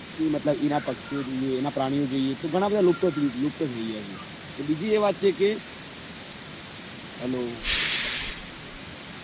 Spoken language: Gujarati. એ મતલબ એના એના પ્રાણીઓ જોઈએ તો ઘણા બધા લોકાતરિત લુપ્ત થઇ ગયા છૅ અને બીજી એ વાત કે hello